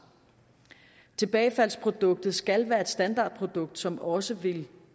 tilbagefaldsproduktet skal være et standardprodukt som også vil